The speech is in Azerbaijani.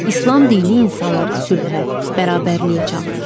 İslam dini insanları sülhə, bərabərliyə çağırır.